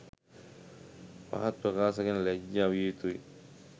පහත් ප්‍රකාශ ගැන ලජ්ජා විය යුතුයි.